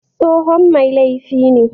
Tsohon mai laifi ne